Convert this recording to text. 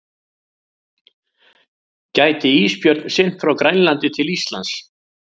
Gæti ísbjörn synt frá Grænlandi til Íslands?